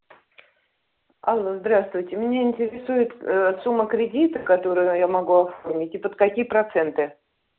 алло здравствуйте меня интересует ээ сумма кредита которую я могу оформить и под какие проценты